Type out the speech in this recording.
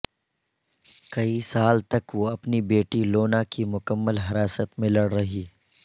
کئی سال تک وہ اپنی بیٹی لونا کی مکمل حراست میں لڑ رہی ہے